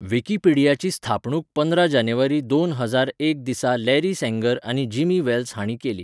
विकिपीडियाची स्थापणूक पंदरा जानेवारी दोन हजार एक दिसा लॅरी सँगर आनी जिमी वेल्स हांणी केली.